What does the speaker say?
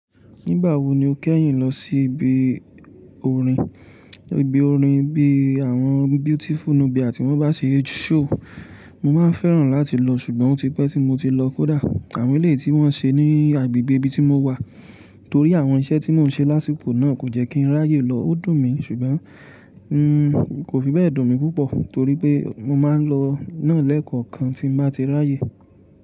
Nígbà wo ni o kẹ́yìn lọ sí ibi orin? Ibi orin bí i àwọn Beautiful Nubia tí wọ́n bá ṣe show, mo máa fẹ́ràn láti lọ ṣùgbọ́n ó ti pẹ́ tí mo ti lọ kódà. Àwon eléyìí tí wọ́n ṣe ní agbègbè ibi tí mo wà. Torí àwọn iṣẹ́ tí mò ń ṣe lásíkò náà kò jẹ́ kí n ráyè lọ, ó dùn mi ṣùgbọ́n n kò fi bẹ́ẹ̀ dùn mí púpọ̀ torí pé mo máa ń lọ náà lẹ́ẹ̀kọ̀kan tí n bá ti ráyè.